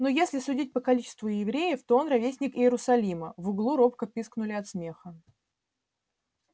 ну если судить по количеству евреев то он ровесник иерусалима в углу робко пискнули от смеха